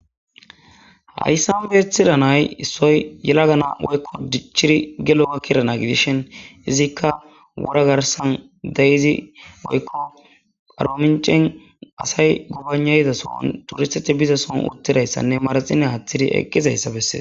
Hayssanbeethidanay issoy yela gana woykko dichchiri gelo ga kirana gidishin izikka wora garsan deyizi oykko aroomicen asay gubanayizasoon turisteti bizason uttidayssanne maraxine haaththidi eqqizayssa bessee.